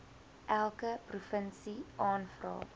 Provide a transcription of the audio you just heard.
elke provinsie aanvra